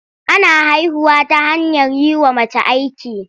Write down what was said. Ana haihuwa ta hanyar yi wa mace aiki.